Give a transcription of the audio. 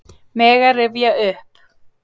Mega rifja upp.